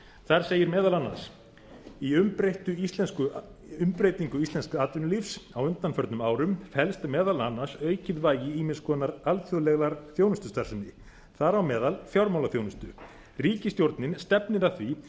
þar segir meðal annars í umbreytingu íslensks atvinnulífs á undanförnum árum felst meðal annars aukið vægi ýmiss konar alþjóðlegrar þjónustustarfsemi þar á meðal fjármálaþjónustu ríkisstjórnin stefnir að því